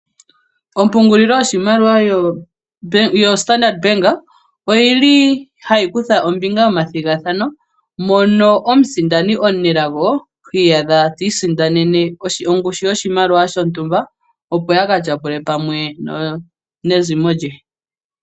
Ompungululilo yoshimaliwa yoStandard Bank oyili hayi kutha ombinga momathigathano mono omusindani omunelago hiiyadha tiisindanene ongushu yoshimaliwa shontumba, opo aka tyapule pamwe neezimo lye.